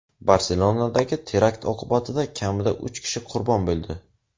Barselonadagi terakt oqibatida kamida uch kishi qurbon bo‘ldi.